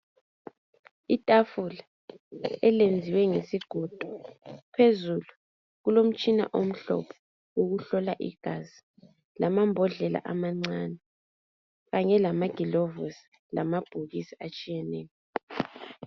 Itafula elenziwe ngesigodo, phezulu kulomtshina omhlophe okuhlola igazi lamambodlela amancane kanye lamagilovisi lamabhokisi atshiyeneyo.